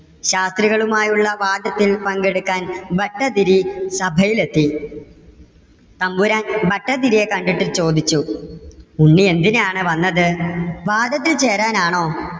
ശാസ്ത്രികളും ആയുള്ള വാദത്തിൽ പങ്കെടുക്കാൻ ഭട്ടതിരി സഭയിൽ എത്തി തമ്പുരാൻ ഭട്ടതിരിയെ കണ്ടിട്ട് ചോദിച്ചു, ഉണ്ണി എന്തിനാണ് വന്നത്? വാദത്തിൽ ചേരാൻ ആണോ?